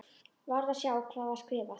Varð að sjá hvað var skrifað.